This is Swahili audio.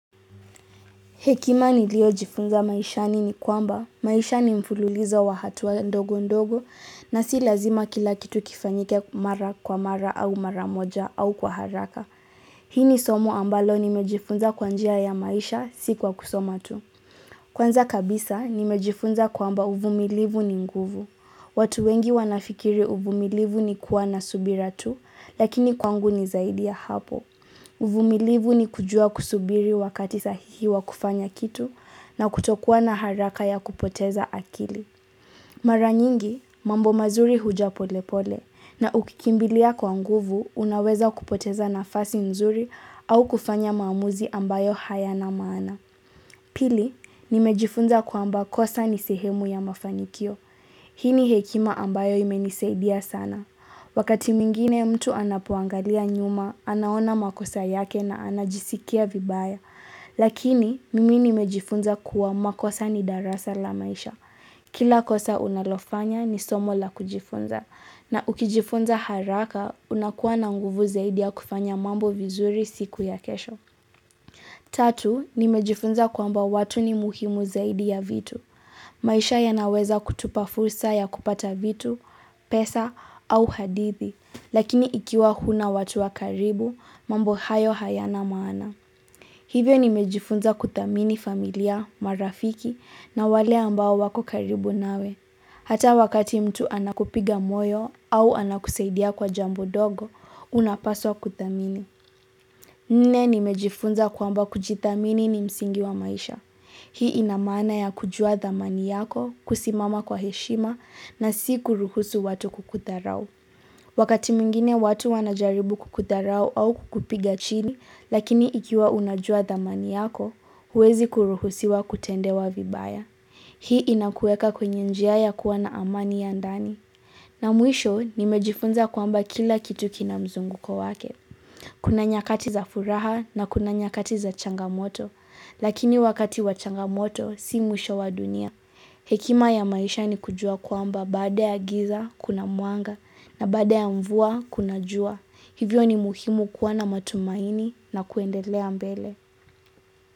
Hekima nilio jifunza maishani ni kwamba maisha ni mfululizo wa hatua ndogo ndogo na si lazima kila kitu kifanyike mara kwa mara au mara moja au kwa haraka. Hii ni somo ambalo nimejifunza kwa njia ya maisha si kwa kusoma tu. Kwanza kabisa nimejifunza kwamba uvumilivu ni nguvu. Watu wengi wanafikiri uvumilivu ni kuwa na subira tu lakini kwangu ni zaidi ya hapo. Uvumilivu ni kujua kusubiri wakati sahihi wa kufanya kitu na kutokua na haraka ya kupoteza akili. Mara nyingi, mambo mazuri huja pole pole na ukikimbilia kwa nguvu unaweza kupoteza nafasi nzuri au kufanya maamuzi ambayo hayana maana. Pili, nimejifunza kwamba kosa ni sehemu ya mafanikio. Hii ni hekima ambayo imenisaidia sana. Wakati mingine mtu anapuangalia nyuma, anaona makosa yake na anajisikia vibaya. Lakini, mimi nimejifunza kuwa makosa ni darasa la maisha. Kila kosa unalofanya ni somo la kujifunza. Na ukijifunza haraka, unakuwa na nguvu zaidi ya kufanya mambo vizuri siku ya kesho. Tatu, nimejifunza kwamba watu ni muhimu zaidi ya vitu. Maisha ya naweza kutupa fursa ya kupata vitu, pesa au hadithi. Lakini ikiwa huna watu wa karibu, mambo hayo hayana maana. Hivyo nimejifunza kuthamini familia, marafiki na wale ambao wako karibu nawe. Hata wakati mtu anakupiga moyo au anakusaidia kwa jambo dogo, unapaswa kuthamini. Nne nimejifunza kwamba kujithamini ni msingi wa maisha. Hii inamaana ya kujua dhamani yako, kusimama kwa heshima na si kuruhusu watu kukudharau. Wakati mwingine watu wanajaribu kukudharau au kukupiga chini, lakini ikiwa unajua thamani yako, huwezi kuruhusiwa kutendewa vibaya. Hii inakueka kwenye njia ya kuwa na amani ya ndani. Na mwisho, nimejifunza kwamba kila kitu kina mzunguko wake. Kuna nyakati za furaha na kuna nyakati za changamoto, lakini wakati wa changamoto, si mwisho wa dunia. Hekima ya maisha ni kujua kwamba baada ya giza kuna mwanga na baada ya mvua kuna jua. Hivyo ni muhimu kuwa na matumaini na kuendelea mbele.